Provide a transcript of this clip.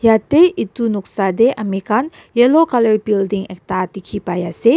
yatae edu noksa tae amikhan yellow colour building ekta dikhipaiase.